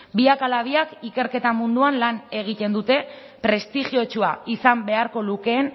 biak ala biak ikerketa munduan lan egiten dute prestigiotsua izan beharko lukeen